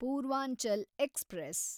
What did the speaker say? Purvanchal express